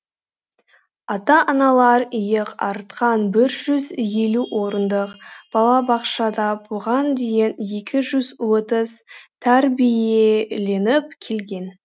ата аналар иек артқан бір жүз елу орындық балабақшада бұған дейін екі жүз отыз тәрбиеленіп келген